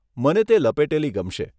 મને તે લપેટેલી ગમશે.